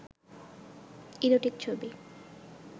erotic ছবি